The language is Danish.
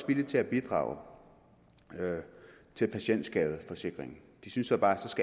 villige til at bidrage til patientskadeforsikringen de synes så bare